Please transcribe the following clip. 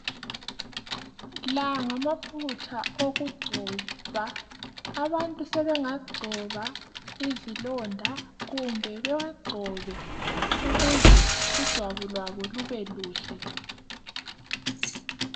La ngamafutha okugcoba abantu sebengagcoba izilonda kumbe bewagcobe ukuze ijwabu labo libe lihle.